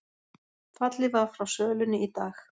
Fallið var frá sölunni í dag